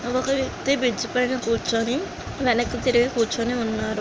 ఒక వ్యక్తి బ్రిజ్ మీద కూర్చుని వెనకకు తిరిగి కూర్చుని వున్నాడు .